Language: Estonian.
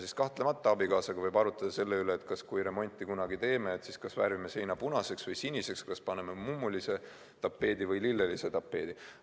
Siis kahtlemata võib abikaasaga arutleda selle üle, et kui kunagi remonti teeme, kas siis värvime seina punaseks või siniseks, kas paneme mummulise tapeedi või lillelise tapeedi.